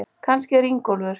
Kannski er Ingólfur